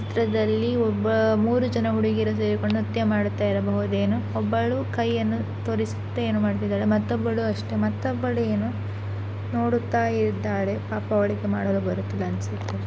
ಈ ಚಿತ್ರದಲ್ಲಿ ಒಬ್ಬ ಮೂರೂ ಜನ ಹುಡುಗಿಯರು ಸೇರಿಕೊಂಡು ನೃತ್ಯ ಮಾಡುತ್ತಿರಬಹುದೇನೋ ಒಬ್ಬಳು ಕೈಯನ್ನು ತೋರಿಸುತ್ತ ಏನೋ ಮಾಡುತ್ತಿದ್ದಾಳೆ ಮತ್ತೊಬ್ಬಳು ಅಷ್ಟೇ ಮತ್ತೊಬ್ಬಳು ಏನೋ ನೋಡುತ್ತಾ ಇದ್ದಾಳೆ ಪಾಪ ಅವಳಿಗೆ ಮಾಡಲು ಬರುತ್ತಿಲ್ಲವೇನೋ ಅನ್ಸುತ್ತೆ .